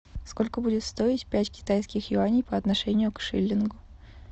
сколько будет стоить пять китайских юаней по отношению к шиллингу